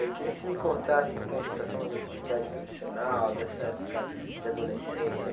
Eu queria que você me contasse, então, você está falando da tua atividade profissional, dessa época de adolescência.